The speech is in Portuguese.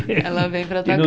Ela vem para a tua